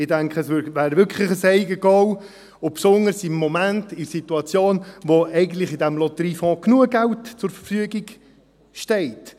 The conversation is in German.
Ich denke, es wäre wirklich ein Eigengoal und besonders im Moment in der Situation, in der eigentlich in diesem Lotteriefonds genügend Geld zur Verfügung steht.